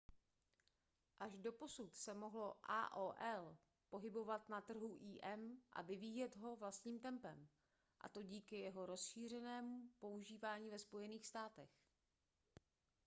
až doposud se mohlo aol pohybovat na trhu im a vyvíjet ho vlastním tempem a to díky jeho rozšířeném používání ve spojených státech